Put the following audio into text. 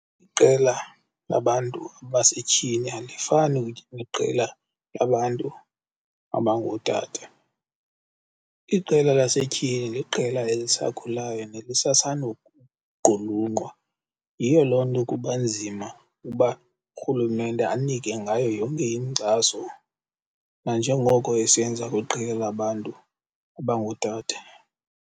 Iqela labantu abasetyhini alifani neqela labantu abangootata. Iqela lasetyhini liqela elisakhulayo nelisasandukuqulunqwa. Yiyo loo nto kuba nzima uba urhulumente anike ngayo yonke inkxaso nanjengoko esenza kwiqela labantu abangootata.